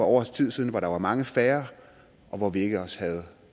år siden hvor der var mange færre og hvor vi ikke også havde